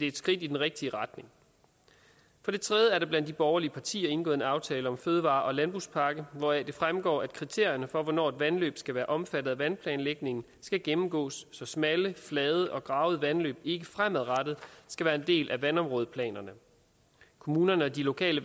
et skridt i den rigtige retning for det tredje er der blandt de borgerlige partier indgået en aftale om en fødevare og landbrugspakke hvoraf det fremgår at kriterierne for hvornår et vandløb skal være omfattet af vandplanlægningen skal gennemgås så smalle flade og gravede vandløb ikke fremadrettet skal være en del af vandområdeplanerne kommunerne og de lokale